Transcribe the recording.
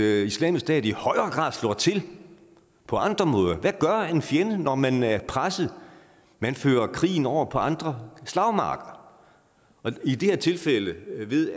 at islamisk stat i højere grad slår til på andre måder for hvad gør en fjende når man er presset man fører krigen over på andre slagmarker i det her tilfælde ved